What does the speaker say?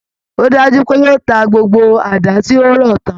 Ó dájú pé yóò ta gbgbo àdá tí ó rọ tán